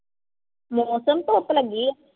ਮੌਸਮ ਧੁੱਪ ਲੱਗੀ ਆ।